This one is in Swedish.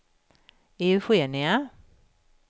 Eugenia